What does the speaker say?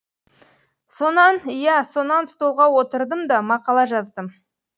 сонан иә сонан столға отырдым да мақала жаздым